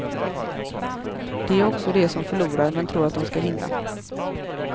Det gör också de som förlorar men tror att de ska vinna.